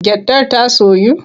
Gyaɗar ta soyu?